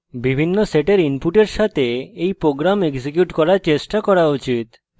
বিভিন্ন sets inputs সাথে you program execute করার চেষ্টা করা উচিত